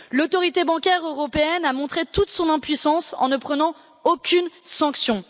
L'Autorité bancaire européenne a montré toute son impuissance en ne prenant aucune sanction.